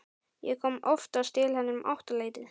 Ég kom oftast til hennar um áttaleytið.